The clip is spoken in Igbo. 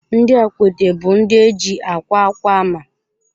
Ndị Akwete bụ ndị eji akwa akwa ama.